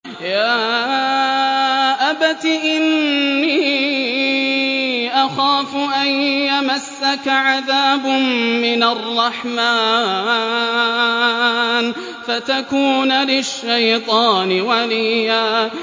يَا أَبَتِ إِنِّي أَخَافُ أَن يَمَسَّكَ عَذَابٌ مِّنَ الرَّحْمَٰنِ فَتَكُونَ لِلشَّيْطَانِ وَلِيًّا